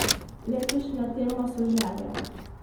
Letošnja tema so želje.